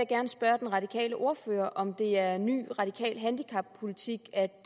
gerne spørge den radikale ordfører om det er ny radikal handicappolitik at